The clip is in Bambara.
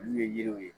Olu ye yiriw ye